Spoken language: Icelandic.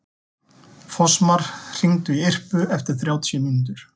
Fossmar, hringdu í Irpu eftir þrjátíu mínútur.